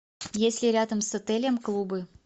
есть ли рядом с отелем клубы